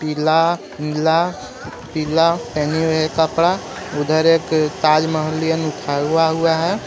पीला नीला पीला पहने हुए कपड़ा उधर एक ताजमहललियन उठा हुआ हुआ है.